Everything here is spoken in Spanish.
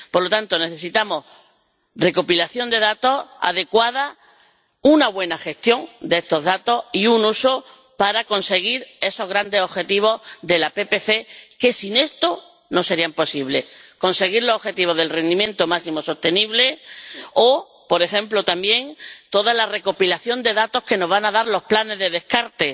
Por lo tanto, necesitamos una recopilación de datos adecuada, una buena gestión de estos datos y su uso para conseguir esos grandes objetivos de la PPC que sin esto no sería posible —conseguir los objetivos del rendimiento máximo sostenible— o, por ejemplo también, toda la recopilación de datos que nos van a dar los planes de descarte,